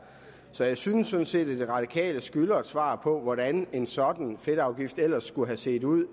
så jeg synes sådan set at de radikale skylder et svar på hvordan en sådan fedtafgift ellers skulle have set ud